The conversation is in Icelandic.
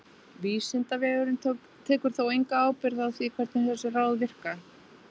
Vísindavefurinn tekur þó enga ábyrgð á því hvernig þessi ráð virka.